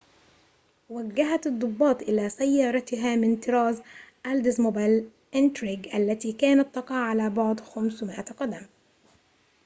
وجّهت الضباط إلى سيارتها من طراز اولدزموبيل انتريج التي كانت تقع على بعد 500 قدم